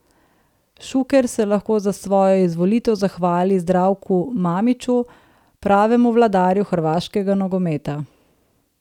Šuker se lahko za svojo izvolitev zahvali Zdravku Mamiću, pravemu vladarju hrvaškega nogometa.